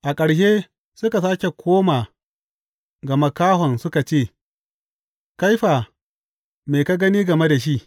A ƙarshe suka sāke koma ga makahon suka ce, Kai fa, me ka gani game da shi?